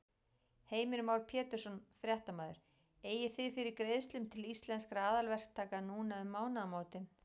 Heimir Már Pétursson, fréttamaður: Eigið þið fyrir greiðslum til Íslenskra aðalverktaka núna um mánaðamótin?